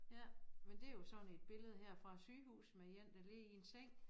Ja men det jo sådan et billede her fra et sygehus med én der ligger i en seng